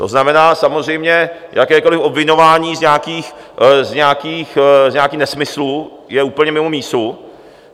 To znamená samozřejmě, jakékoliv obviňování z nějakých nesmyslů je úplně mimo mísu.